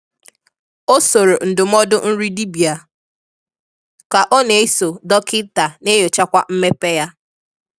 Ọ sórò ndụmọdụ nri dibịa, ka ọ na-eso dọkịta na-enyochakwa mmepe ya.